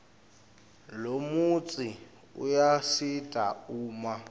lomutsi uyasita uma